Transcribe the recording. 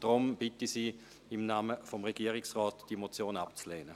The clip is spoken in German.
Deshalb bitte ich Sie im Namen des Regierungsrates, diese Motion abzulehnen.